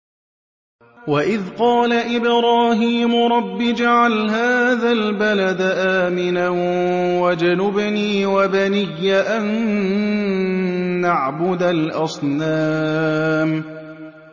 وَإِذْ قَالَ إِبْرَاهِيمُ رَبِّ اجْعَلْ هَٰذَا الْبَلَدَ آمِنًا وَاجْنُبْنِي وَبَنِيَّ أَن نَّعْبُدَ الْأَصْنَامَ